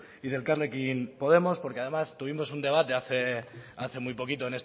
y de elkarrekin podemos porque además tuvimos un debate hace muy poquito